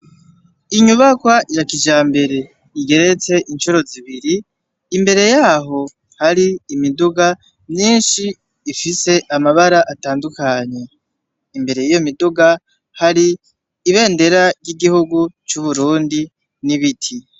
Inyubakwa ya kijambere, igeretse incuro zibiri, imbere yaho hari imiduga myinshi ifise amabara atandukanye, imbere y'iyo miduga hari ibendera ry'igihugu c'u Burundi n'ibiti.